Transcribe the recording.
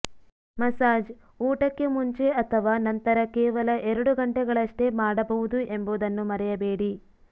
massage ಊಟಕ್ಕೆ ಮುಂಚೆ ಅಥವಾ ನಂತರ ಕೇವಲ ಎರಡು ಗಂಟೆಗಳಷ್ಟೇ ಮಾಡಬಹುದು ಎಂಬುದನ್ನು ಮರೆಯಬೇಡಿ